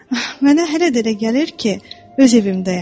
Ah, mənə hələ də elə gəlir ki, öz evimdəyəm.